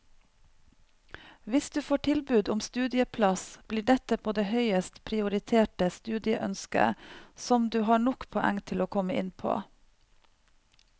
Hvis du får tilbud om studieplass, blir dette på det høyest prioriterte studieønsket som du har nok poeng til å komme inn på.